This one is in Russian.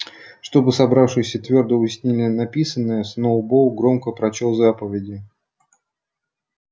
чтобы собравшиеся твёрдо уяснили написанное сноуболл громко прочёл заповеди